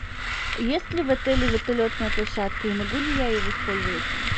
есть ли в отеле вертолетная площадка и могу ли я ей воспользоваться